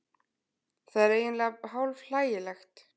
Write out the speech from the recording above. Það er eiginlega hálf hlægilegt